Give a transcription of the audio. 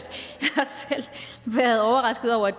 været overrasket over at